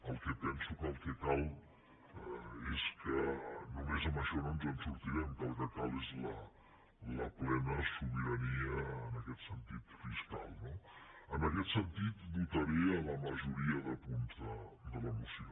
el que penso és que només amb això no ens en sortirem el que cal és la plena sobirania en aquest sentit fiscal no en aquest sentit votaré la majoria de punts de la moció